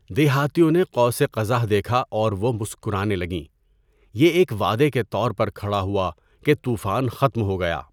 دیہاتیوں نے قوس قزح دیکھا اور وہ مسکرانے لگیں۔ یہ ایک وعدے کے طور پر کھڑا ہوا کہ طوفان ختم ہو گیا۔